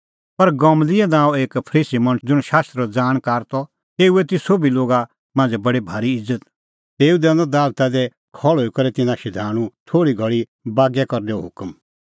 पर गमलिएल नांओं एक फरीसी मणछ ज़ुंण शास्त्रो ज़ाणकार त तेऊए ती सोभी लोगा मांझ़ै बडी भारी इज़त तेऊ दैनअ दालता दी खल़्हुई करै तिन्नां शधाणूं थोल़ी घल़ी बागै करनैओ हुकम